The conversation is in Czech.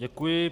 Děkuji.